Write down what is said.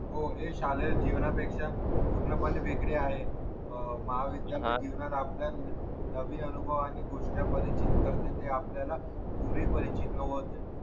हो लय छान हे जीवनापेक्षा पूर्णपणे वेगळी आहे हो महाविद्यालयीन जीवनात आपल्या नवीन अनुभव आणि गोष्ट्या परिचित करतेय ते आपल्याला पूर्ण परिचित लोक होते